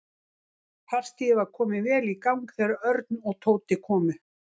Partíið var komið vel í gang þegar Örn og Tóti komu.